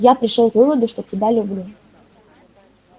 я пришёл к выводу что тебя люблю